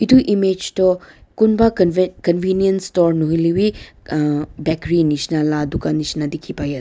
itu image toh kunba conve convenient store nahoilewi uh bakery nishina la dukan dikhi pai ase.